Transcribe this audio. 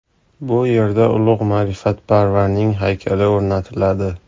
Bu yerda ulug‘ ma’rifatparvarning haykali o‘rnatiladi.